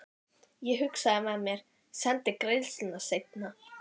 Ég hugsaði með mér: Sendi greiðsluna seinna.